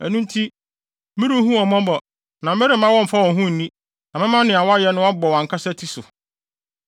Ɛno nti, merenhu wɔn mmɔbɔ na meremma wɔmmfa wɔn ho nni, na mɛma nea wɔayɛ no abɔ wɔn ankasa ti so.”